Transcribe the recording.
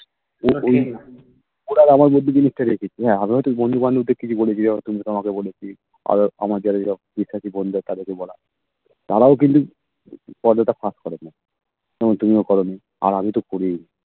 এবার আমার যদি জিনিস থাকে কিছু আমিও তো বন্ধুবান্ধব দের কিছু বলেছি যেমন তোমাকে বলেছি আরো আমার যারা বন্ধু আছে তাদেরকে বলা তারাও কিন্তু কথাটা ফাঁস করে নি যেমন তুমিও করোনি আর আমি তো করিই নি